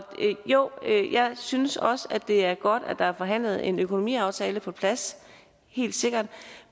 jo jeg synes også at det er godt at der er forhandlet en økonomiaftale på plads helt sikkert